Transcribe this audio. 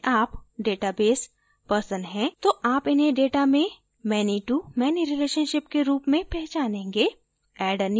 यदि आप database person हैं तो आप इन्हें data में many to many relationship के रूप में पहचानेंगे